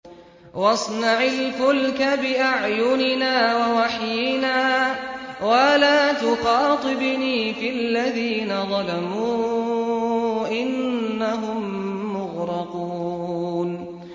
وَاصْنَعِ الْفُلْكَ بِأَعْيُنِنَا وَوَحْيِنَا وَلَا تُخَاطِبْنِي فِي الَّذِينَ ظَلَمُوا ۚ إِنَّهُم مُّغْرَقُونَ